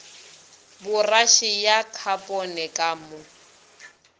poraše ya khapone ka mo